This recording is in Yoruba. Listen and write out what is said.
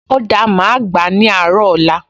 O dáa, màá gbà á ní àárọ̀ ọ̀la